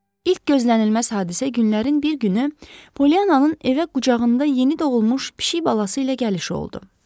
İlk gözlənilməz hadisə günlərin bir günü Polyananın evə qucağında yeni doğulmuş pişik balası ilə gəlişi oldu.